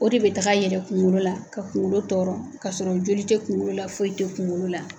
O de be taga yɛlɛ kuŋolo la ka kuŋolo tɔɔrɔ kasɔrɔ joli te kuŋolo la foyi te kuŋolo la.